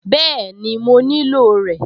Bẹ́ẹ̀ni, mo nílò rẹ̀